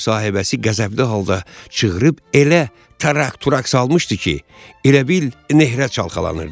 Ev sahibəsi qəzəbli halda çığırıb elə tarak-turak salmışdı ki, elə bil nehrə çalxalanırdı.